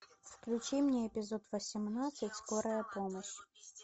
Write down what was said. включи мне эпизод восемнадцать скорая помощь